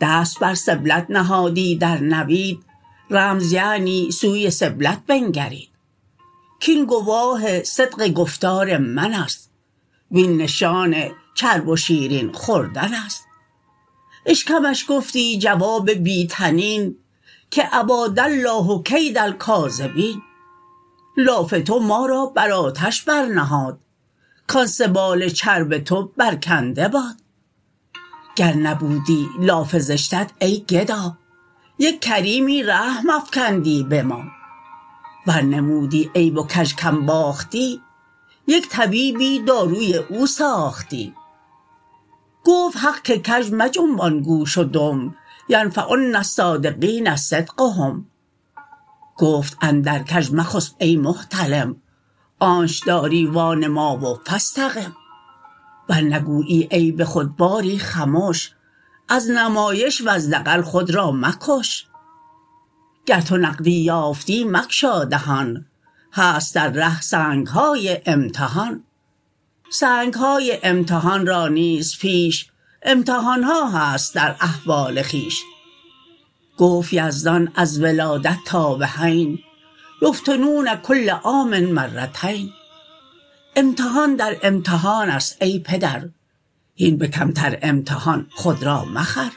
دست بر سبلت نهادی در نوید رمز یعنی سوی سبلت بنگرید کین گواه صدق گفتار منست وین نشان چرب و شیرین خوردنست اشکمش گفتی جواب بی طنین که اباد الله کید الکاذبین لاف تو ما را بر آتش بر نهاد کان سبال چرب تو بر کنده باد گر نبودی لاف زشتت ای گدا یک کریمی رحم افکندی به ما ور نمودی عیب و کژ کم باختی یک طبیبی داروی او ساختی گفت حق که کژ مجنبان گوش و دم ینفعن الصادقین صدقهم گفت اندر کژ مخسپ ای محتلم آنچ داری وا نما و فاستقم ور نگویی عیب خود باری خمش از نمایش وز دغل خود را مکش گر تو نقدی یافتی مگشا دهان هست در ره سنگهای امتحان سنگهای امتحان را نیز پیش امتحانها هست در احوال خویش گفت یزدان از ولادت تا بحین یفتنون کل عام مرتین امتحان در امتحانست ای پدر هین به کمتر امتحان خود را مخر